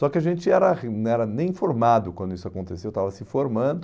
Só que a gente era não era nem informado quando isso aconteceu, estava se informando,